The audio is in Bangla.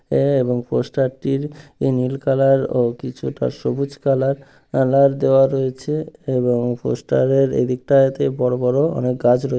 আ এবং পোস্টার -টির নীল কালার ও কিছুটা সবুজ কালার কালার দেওয়া রয়েছে এবং পোস্টার -এর এদিকটাতে বড় বড় অনেক গাছ রয়ে--